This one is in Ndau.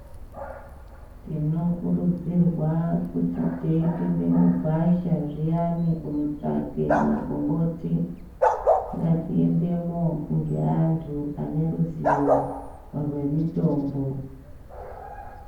Tinokurudzirwa kuti teipinda mugwasha zviyani kunotsvake magomboti, ngatiendemo ngeanhu aneruzivo rwemitombo.